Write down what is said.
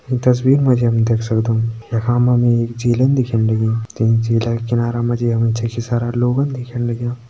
ईं तस्वीर मा जी हम देख सक्दों यखा मा एक झीलन दिखेण लगीं ते झीला का किनार मा जी हमे छकि सारा लोगन दिखेण लग्यां।